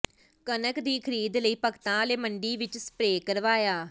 ਕਣਕ ਦੀ ਖਰੀਦ ਲਈ ਭਗਤਾਂਵਾਲਾ ਮੰਡੀ ਵਿੱਚ ਸਪਰੇਅ ਕਰਵਾਇਆ